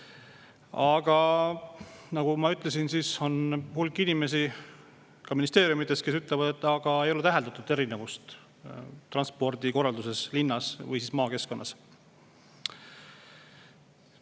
Aga nagu ma ütlesin, on hulk inimesi ka ministeeriumides, kes ütlevad, et ei ole täheldatud, et transpordikorralduses linnas ja maakeskkonnas erinevusi on.